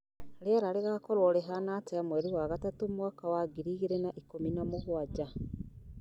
rĩera rĩgaakorwo rĩhaana atĩa mweri wa gatatũ mwaka wa ngiri igĩrĩ na ikũmi na mũgwanja